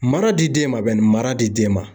Mara di den ma bani, mara di den ma.